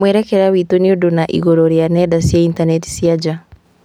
Mwerekera witũ nĩũndũ na igũrũ rĩa nenda cia intaneti cia nja